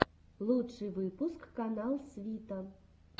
лучший выпуск канал свита